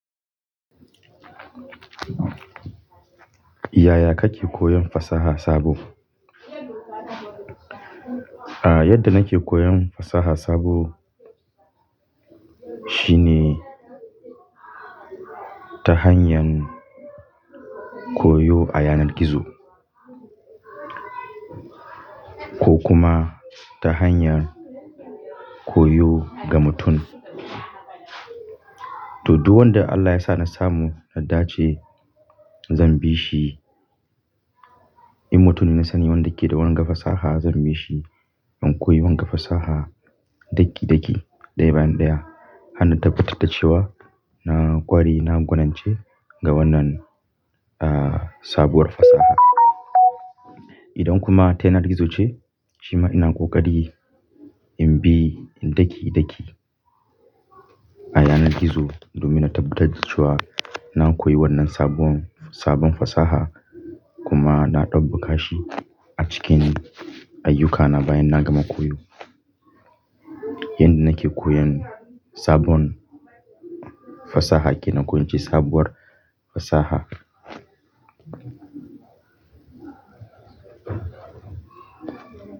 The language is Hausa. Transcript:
Yaya kake koyon fasaha sabo? A, yadda nake koyon fasaha sabo shine ta hanyar koyo a yanar gizo ko kuma ta hanyar koyo ga mutum. To, duk wanda Allah ya sa na samu, na dace zan bi shi. In mutum na sani wanda ke da wanga fasaha zan bi shi, in koyi wanga fasaha daki-daki, ɗaya bayan ɗaya, har na tabbatar da cewa na ƙware, na gwanance ga wannan, ah, sabuwar fasaha. Idan kuma ta yanar gizo ce, shima ina ƙoƙari in bi in daki-daki a yanar gizo domin na tabbatar da cewa na koyi wannan sabon, sabon fasaha kuma na ɗabbaƙa shi a cikin ayyukana bayan na gama koyo. Yanda nake koyon sabon fasaha kenan ko in ce sabuwar fasaha.